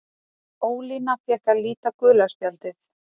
Ólína fékk að líta gula spjaldið.